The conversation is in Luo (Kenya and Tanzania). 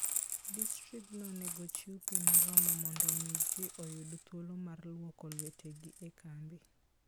Distriktno onego ochiw pi moromo mondo omi ji oyud thuolo mar lwoko lwetegi e kambi.